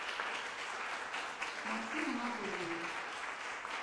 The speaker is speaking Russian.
максим анатольевич